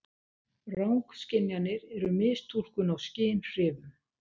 Rangskynjanir eru mistúlkun á skynhrifum.